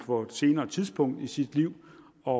på et senere tidspunkt i sit liv og